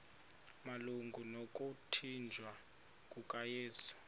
malunga nokuthanjiswa kukayesu